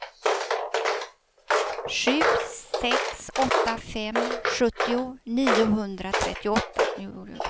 sju sex åtta fem sjuttio niohundratrettioåtta